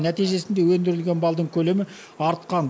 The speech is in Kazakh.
нәтижесінде өндірілген балдың көлемі артқан